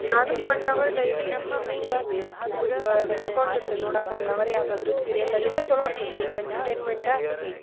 ನಾನು one hour daily evening ಸ್ವಲ್ಪ ಕುತ್ಕೊಂಡಿರ್ತೇನ್ ನೋಡಾಕ one hour ಯಾವ್ದಾದ್ರು serial ನ ಏನೊ ಚೊಲೋ ಅನ್ಸುತ್ತ್ ಸ್ವಲ್ಪ entertainment ಆ.